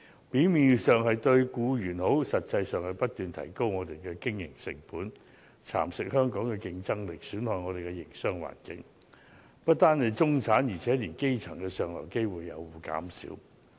表面上，這些措施對僱員有好處，但實際上卻會不斷提高我們的經營成本、蠶食香港的競爭力、損害我們的營商環境，屆時不單中產，連基層的上流機會也會減少。